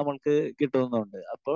നമ്മൾക്ക് കിട്ടുന്നുണ്ട്. അപ്പോ